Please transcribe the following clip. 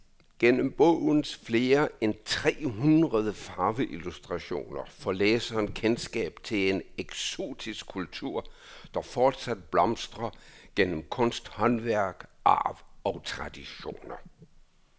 Gennem bogens flere end tre hundrede farveillustrationer får læseren kendskab til en eksotisk kultur, der fortsat blomstrer gennem kunsthåndværk, arv og traditioner.